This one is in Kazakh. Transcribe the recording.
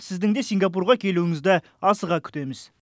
сіздің де сингапурға келуіңізді асыға күтеміз